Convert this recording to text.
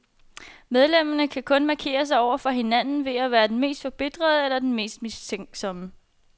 Medlemmerne kan kun markere sig over for hinanden ved at være den mest forbitrede, eller den mest mistænksomme.